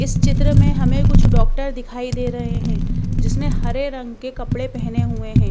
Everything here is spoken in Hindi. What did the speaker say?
इस चित्र में हमें कुछ डॉक्टर दिखाई दे रहे हैं जिसने हरे रंग के कपड़े पहने हुए हैं।